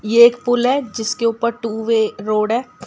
ये एक पुल है जिसके ऊपर टू वे रोड है।